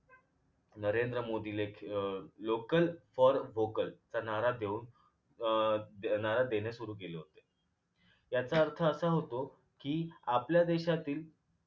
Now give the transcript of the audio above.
नरेंद्र मोदी ले अं local for vocal हा नारा देऊन अं नारा देणे सुरु केले होते याचा अर्थ असा होतो की आपल्या देशातील